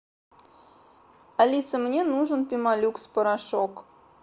алиса мне нужен пемолюкс порошок